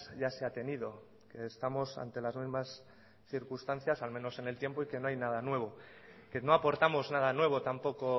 ya se ha tenido que estamos ante las mismas circunstancias al menos en el tiempo y que no hay nada nuevo que no aportamos nada nuevo tampoco